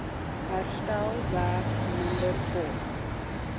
herstelwerk minder kos